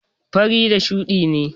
fari da shuɗi ne.